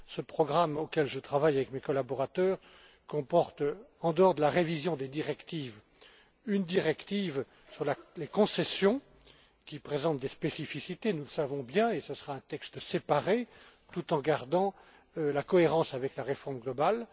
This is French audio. Ce programme, auquel je travaille avec mes collaborateurs, comporte, en dehors de la révision des directives, une directive sur les concessions qui présentent des spécificités, nous le savons bien qui justifie un texte séparé, tout en veillant à conserver la cohérence avec la réforme globale.